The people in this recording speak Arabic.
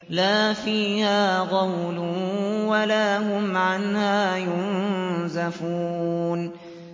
لَا فِيهَا غَوْلٌ وَلَا هُمْ عَنْهَا يُنزَفُونَ